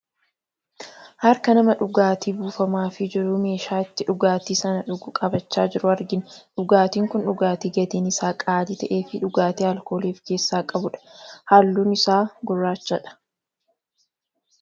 Harka namaa dhugaatiii buufamaa fi jiru meeshaa itti dhugaatii san dhugu qabachaa jiru argina . Dhugaatiin kun dhugaatii gatiin isaa qaalii ta'eee fi dhugaatii alkoolii of keessa qabudha. Halluun isaa gurracha dha.